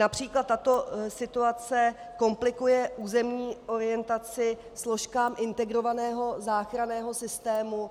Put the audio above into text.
Například tato situace komplikuje územní orientaci složkám integrovaného záchranného systému,